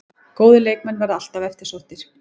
Góðir leikmenn verða alltaf eftirsóttir